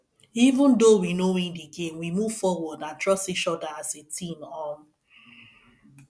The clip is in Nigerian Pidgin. even though we no win the game we move forward and trust each other as a team um